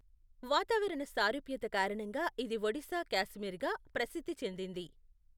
వాతావరణ సారూప్యత కారణంగా ఇది ఒడిశా కాశ్మీర్గా ప్రసిద్ధి చెందింది.